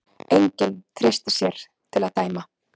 Enginn treysti sér til að dæma.